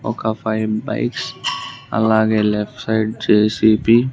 ఒక five bikes అలాగే left side JCB .